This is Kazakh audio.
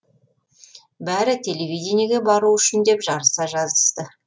бәрі телевидениеге бару үшін деп жарыса жазысты